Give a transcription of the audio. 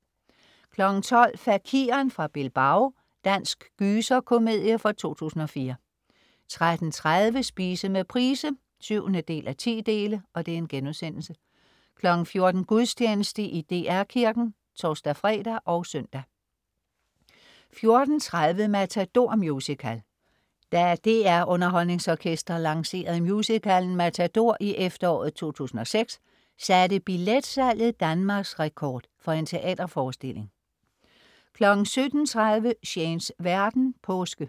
12.00 Fakiren fra Bilbao. Dansk gyser-komedie fra 2004 13.30 Spise med Price 7:10* 14.00 Gudstjeneste i DR Kirken (tors-fre og søn) 14.30 Matador Musical. Da DR UnderholdningsOrkestret lancerede musicalen MATADOR i efteråret 2006 satte billetsalget Danmarksrekord for en teaterforestilling 17.30 Shanes verden. Påske